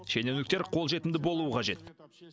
шенеуніктер қолжетімді болуы қажет